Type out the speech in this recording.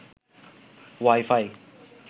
Y phi